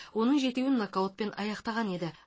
оның жетеуін нокаутпен аяқтаған еді